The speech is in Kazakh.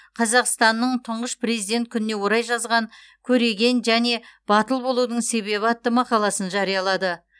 қазақстанның тұңғыш президент күніне орай жазған көреген және батыл болудың себебі атты мақаласын жариялады